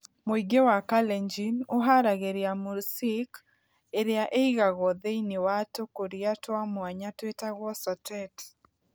Mũingĩ wa Kalenjin ũhaaragĩria mursik, ĩrĩa ĩigagwo thĩinĩ wa tũkũria twa mwanya tũĩtagwo sotet.